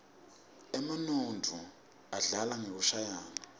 emanuodza adlala ngekushayaua